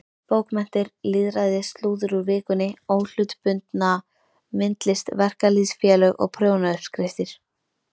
Bókmenntir, lýðræði, slúður úr Vikunni, óhlutbundna myndlist, verkalýðsfélög og prjónauppskriftir.